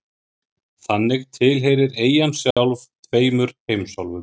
Þannig tilheyrir eyjan sjálf tveimur heimsálfum.